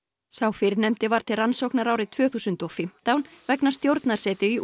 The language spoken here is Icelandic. sá síðarnefndi var til rannsóknar árið tvö þúsund og fimmtán vegna stjórnarsetu í